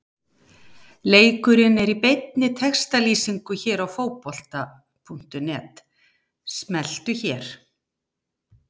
LEIKURINN ER Í BEINNI TEXTALÝSINGU HÉR Á FÓTBOLTA.NET- Smelltu hér